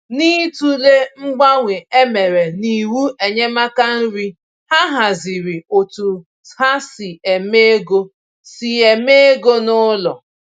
N’ịtụle mgbanwe e mere n’iwu enyemaka nri, ha hazịrị otú ha si eme égo si eme égo n'ụlọ